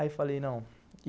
Aí falei não.